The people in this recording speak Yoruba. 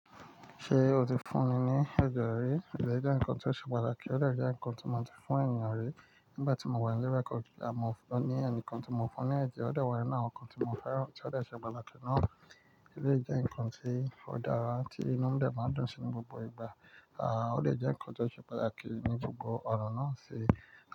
Ṣé o ti fún mi ní ẹje rí? Ẹje nǹkan tí ó ṣe pàtàkì, ọ̀dẹ jẹ́ nǹkan tí mo ti fún èèyàn rí nígbà tí mo wà nílé record o ní ẹ̀ní kan tí mo fún ní ẹ̀jẹ̀, ó dẹ̀ wá ninu awọn nǹkan tí mo fẹ́ràn tí ó ṣe pàtàkì náà. Eleyi jẹ nǹkan tí ó dára tí inú dẹ máa dùn sí ní gbogbo ìgbà. Ó dè jẹ́ ǹkan tí ó ṣe pàtàkì ní gbogbo ọ̀nà náà ṣe.